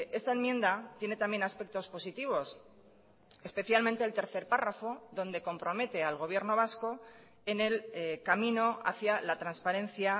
esta enmienda tiene también aspectos positivos especialmente el tercer párrafo donde compromete al gobierno vasco en el camino hacía la transparencia